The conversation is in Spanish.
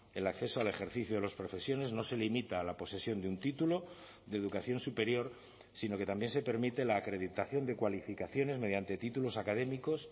el acceso al ejercicio de las profesiones no se limita a la posesión de un título de educación superior sino que también se permite la acreditación de cualificaciones mediante títulos académicos